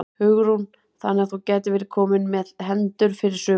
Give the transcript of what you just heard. Hugrún: Þannig að þú gætir verið kominn með hendur fyrir sumarið?